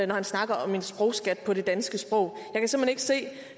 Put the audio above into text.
når han snakker om en sprogskat på det danske sprog